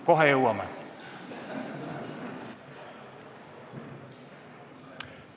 Kohe jõuame selleni.